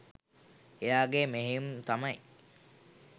එයාගේ මෙහෙයුම් තමයි